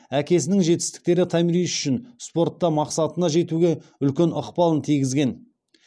әкесінің жетістіктері томирис үшін спортта мақсатына жетуге үлкен ықпалын тигізген